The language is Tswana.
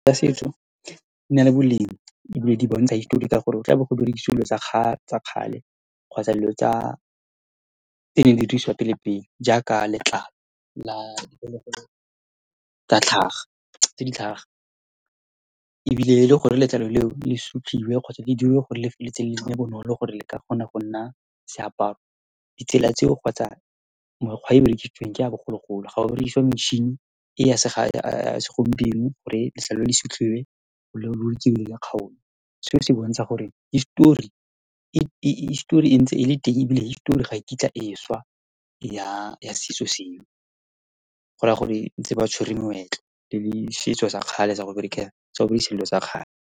setso di na le boleng, ebile di bontsha history ka gore go tlabo go berekisiwa dilo tsa kgale kgotsa dilo tsa, tsene di dirisiwa pele-pele, jaaka letlalo la diphologolo tsa tlhaga, tse di tlhaga, ebile e le gore letlalo leo le sutlhiwe kgotsa le diriwe gore lefeleletse le bonolo gore le ka kgona go nna seaparo. Ditsela tseo kgotsa mekgwa e berekisitsweng ke ya bogologolo, ga go berekisiwe metšhini e ya se segompieno gore letlalo le sutlhiwe ya . Seo se bontsha gore history, e history e ntse e le teng, ebile history ga e kitla e swa ya setso seo, go raya gore ntse ba tshwere moetlo le setso sa kgale sa go berekisa dilo tsa kgale.